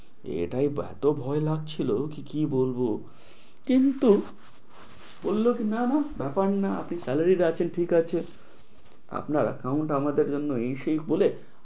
এটাই ভে~ এত ভয় লাগছিল কি বলব কিন্তু বলল কি না না ব্যাপার না আপনি salary রাখছেন ঠিক আছে আপনার account আমাদের জন্য in shake বলে